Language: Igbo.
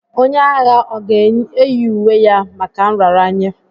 Onye agha ọ ga-eyi uwe ya maka nraranye?